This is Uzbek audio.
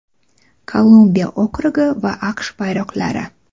Kolumbiya okrugi va AQSh bayroqlari.